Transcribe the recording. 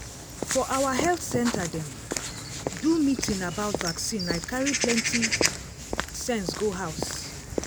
for our health center dem um do meeting about vaccine i carry plenty um sense go house.